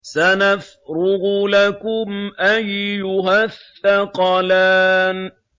سَنَفْرُغُ لَكُمْ أَيُّهَ الثَّقَلَانِ